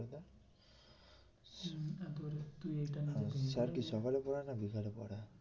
তুই এইটা sir কি সকালে পড়ায় না বিকালে পড়ায়।